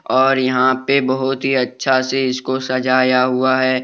और यहां पे बहुत ही अच्छा से इसको सजाया हुआ है।